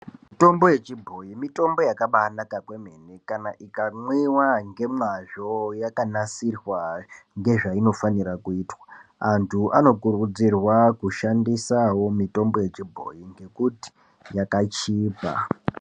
Mitombo yechibhoyi mitombo yakabaanaka kwemene kana mwiwa nemazvo yakanasirwa ngezvainofanira kuitwa. Antu anokurudzirwa kushandise mitombo yechibhoyi ngekuti yakachipa.